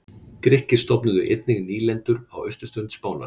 Grikkir stofnuðu einnig nýlendur á austurströnd Spánar.